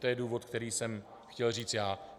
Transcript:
To je důvod, který jsem chtěl říct já.